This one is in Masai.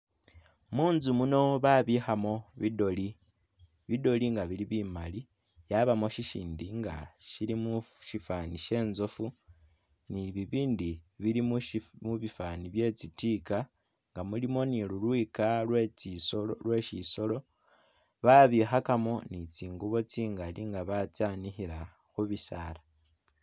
Munzu muno babikhamo bi doli. Bi doli nga bili bimali yabamu syisyindi nga syilimu musyifani sye inzofu ni bibindi bili mubifani bye tsi tika nga mulimu ni lulwika lwe tsisolo lwe syisolo, babikhakamo ni tsingubo tsingali nga batsyanikhila khubisala.